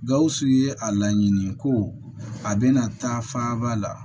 Gawusu ye a laɲini ko a bɛna taa faaba la